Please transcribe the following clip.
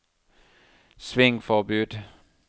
svingforbud